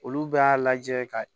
Olu bɛɛ y'a lajɛ ka